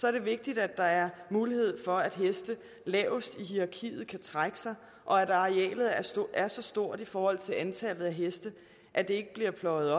er det vigtigt at der er mulighed for at heste lavest i hierarkiet kan trække sig og at arealet er er så stort i forhold til antallet af heste at det ikke blive pløjet